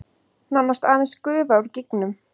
Nánast aðeins gufa úr gígnum